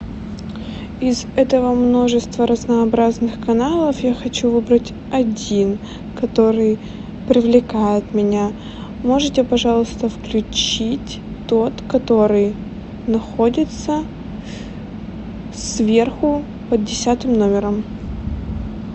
из этого множества разнообразных каналов я хочу выбрать один который привлекает меня можете пожалуйста включить тот который находится сверху под десятым номером